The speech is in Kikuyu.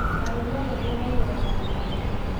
Agũri a mbembe mainyĩraga mĩgũnda-inĩ.